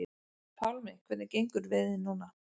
Pálmi: Hvernig gengur veiðin núna?